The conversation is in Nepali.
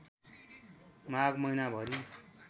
माघ महिनाभरि